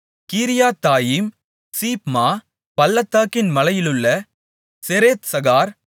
கீரியாத்தாயீம் சீப்மா பள்ளத்தாக்கின் மலையிலுள்ள செரேத்சகார்